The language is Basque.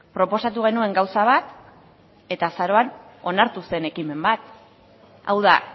proposatu genuen gauza bat eta azaroan onartu zen ekimen bat hau da